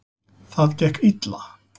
Það gekk illa.